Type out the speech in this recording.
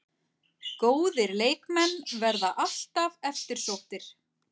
Góðir leikmenn verða alltaf eftirsóttir